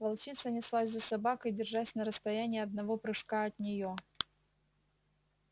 волчица неслась за собакой держась на расстоянии одного прыжка от нее